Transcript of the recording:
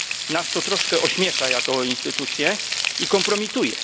Nas to troszkę ośmiesza jako instytucję i kompromituje.